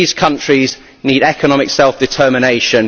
These countries need economic self determination.